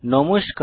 নমস্কার